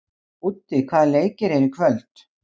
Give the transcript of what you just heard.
Úddi, hvaða leikir eru í kvöld?